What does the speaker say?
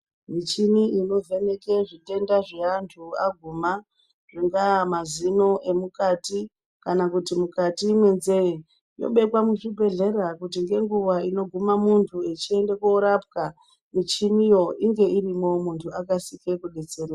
Michini ino vheneke zvitenda zve antu aguma zvingaaa mazino emukati kana kuti mukati me nzee inobekwa mu zvibhedhlera kuti nge nguva ino guma muntu echiende koropwa muchini iyi inge irimo muntu akasike ku detsereka.